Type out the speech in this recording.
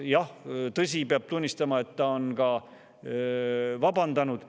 Jah, tõsi, peab tunnistama, et ta on vabandanud.